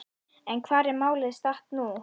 En hvar er málið statt nú?